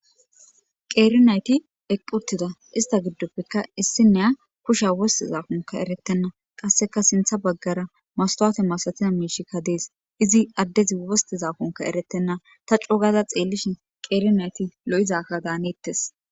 Qeerinayti eqqi uttidaista gidoppekka issiniya kushiya wostidakonkka eretena qassekka sinththa bagara mastawute masatiza miishshika dees. Izi addezi wostidakonkka eretennata coo gada xeelishin qeeri nati lo'izaaka daanetees.